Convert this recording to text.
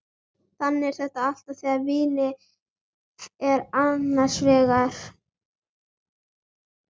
Þannig er þetta alltaf þegar vínið er annars vegar.